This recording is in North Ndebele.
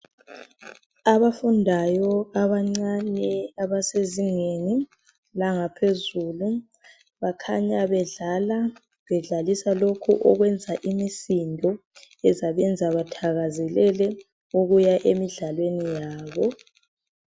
Abafundayo abancane abasezingeni langaphezulu bakhanya bedlala bedlalisa lokhu okwenza imisindo ekuzabenza bathakazelele ukuya emidlalweni yabo